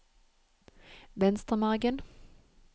Venstremargen